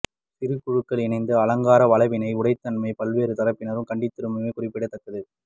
சிறு குழுக்கள் இணைந்து அலங்கார வளைவினை உடைத்தமையை பல்வேறு தரப்பினரும் கண்டிந்திருந்தமை குறிப்பிடத்தக்கது